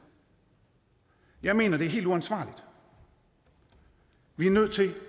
jeg mener det er helt uansvarligt vi er nødt til